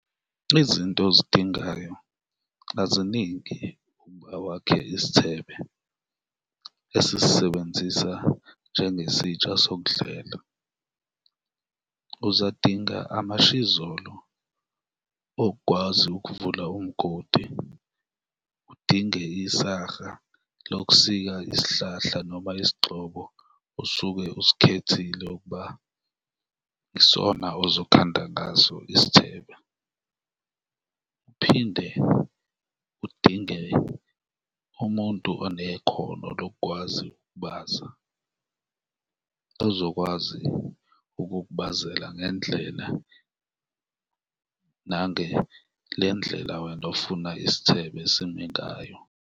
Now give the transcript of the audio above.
Izinto ozidingayo aziningi ukuba wakhe isithebe esisisebenzisa njengesitsha sokudlela. Uzodinga amashizolo okukwazi ukuvula umgodi, udinge lokusika isihlahla noma isigxobo osuke usikhethile ukuba yisona ozokhanda ngaso isithebe uphinde udinge umuntu onekhono lokukwazi ukubaza, ozokwazi ukukubazela ngendlela nange le ndlela wena ofuna isithebe sime ngayo.